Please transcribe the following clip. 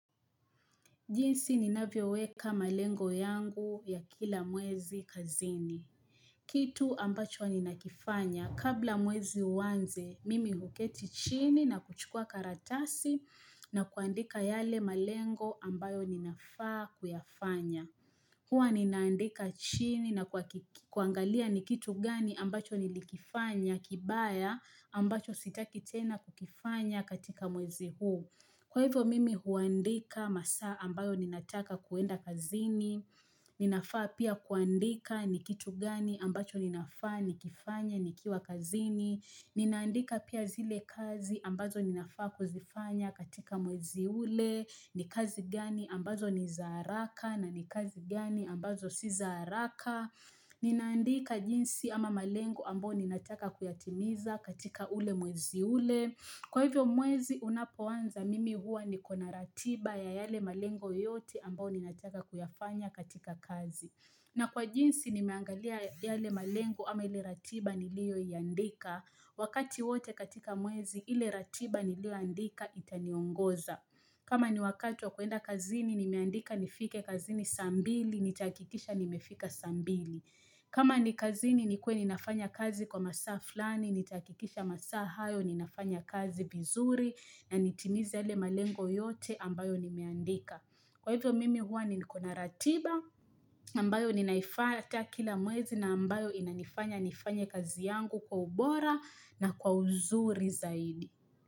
Jinsi ninavyo weka malengo yangu ya kila mwezi kazini. Kitu ambacho ninakifanya. Kabla mwezi uanze, mimi huketi chini na kuchukua karatasi na kuandika yale malengo ambayo ninafaa kuyafanya. Hua ninaandika chini na kuakik kuangalia ni kitu gani ambacho nilikifanya kibaya ambacho sitaki tena kukifanya katika mwezi huu. Kwa hivyo mimi huandika masaa ambayo ninataka kuenda kazini, ninafaa pia kuandika ni kitu gani ambacho ninafaa ni kifanye ni kiwa kazini, ninaandika pia zile kazi ambazo ninafaa kuzifanya katika mwezi ule, ni kazi gani ambazo ni zaaraka na ni kazi gani ambazo si zaaraka ni naandika jinsi ama malengo ambo ni nataka kuyatimiza katika ule mwezi ule Kwa hivyo mwezi unapoanza mimi hua ni kona ratiba ya yale malengo yote ambao ni nataka kuyafanya katika kazi na kwa jinsi ni meangalia yale malengo ama ile ratiba nilio iandika Wakati wote katika mwezi ile ratiba nilio andika itaniongoza kama ni wakati wa kuenda kazini, nimeandika nifike kazini sambili, nitahakikisha nimefika sambili. Kama ni kazini, nikuwe ninafanya kazi kwa masaa flani, nitaakikisha masaa hayo, ninafanya kazi vizuri, na nitimize yale malengo yote ambayo nimeandika. Kwa hivyo mimi huwa nikonaratiba, ambayo ninaifanya atakila mwezi na ambayo inanifanya nifanye kazi yangu kwa ubora na kwa uzuri zaidi.